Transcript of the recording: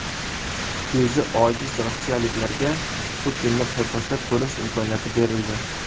Ko‘zi ojiz rossiyaliklarga Putinni paypaslab ko‘rish imkoniyati berildi.